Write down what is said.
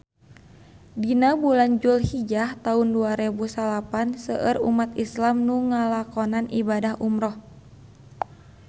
Dina bulan Julhijah taun dua rebu salapan seueur umat islam nu ngalakonan ibadah umrah